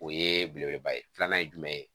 O ye belebeleba ye filanan ye jumɛn ye